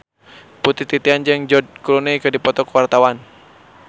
Putri Titian jeung George Clooney keur dipoto ku wartawan